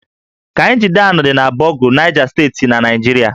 Kainji Dam dị na Bogu, Naịja Steeti na Naịjirịa